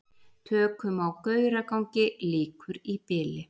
Tökum á Gauragangi lýkur í bili